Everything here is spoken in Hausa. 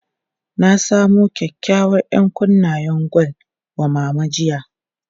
Na samu kyakykyawar 'yankunnen gwal wa Mama jiya.